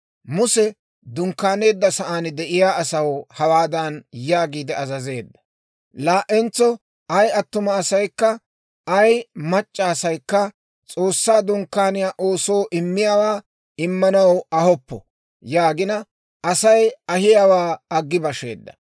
Muse dunkkaaneedda sa'aan de'iyaa asaw hawaadan yaagiide azazeedda; «Laa"entso ay attuma asaykka ay mac'c'a asaykka S'oossaa Dunkkaaniyaa oosoo immiyaawaa immanaw ahoppo» yaagina, Asay ahiyaawaa aggi basheedda.